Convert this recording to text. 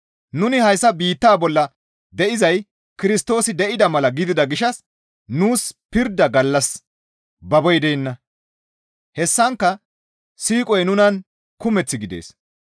Nuni hayssa biittaa bolla de7izay Kirstoosi de7ida mala gidida gishshas nuus pirda gallas baboy deenna; hessankka siiqoy nunan kumeth gidees.